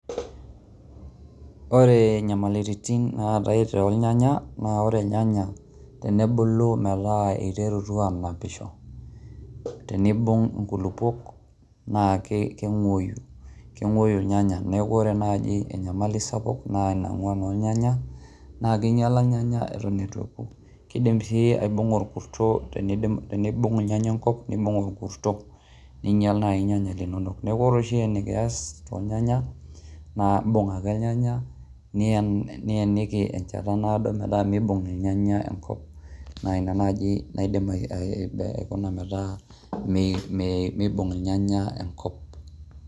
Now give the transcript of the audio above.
Ore nyamaliritin naatai tornyanya naake ore Irnyanya enebulu metaa iterutua aanapisho tenibung' inkulukuok naake keng'ueyu, keng'ueyu irnyanya. Neeku ore naaji enyamali sapuk naa ina ng'uan ornyanya naake inyala irnyanya iton itu eku, kidim sii aibung'a orkuto teni tenibung' irnyanya enkop nibung' orkuto ninyal naai irnyanya linonok. Neeku ore oshi enikias tornyanya, naake imbung' ake irnyanyak nieniki enjata naado metaa miibung' irnyaya enkop naa ina naaji naidim aikuna metaa miibung' irnyanya enkop.